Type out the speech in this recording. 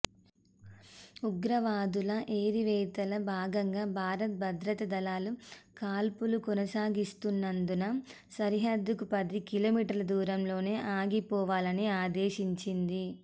ఉగ్రవాదుల ఏరివేతలో భాగంగా భారత్ భద్రతా దళాలు కాల్పులు కొనసాగిస్తున్నందున సరిహద్దుకు పది కిలోమీటర్ల దూరంలోనే ఆగిపొవాలని ఆదేశించింది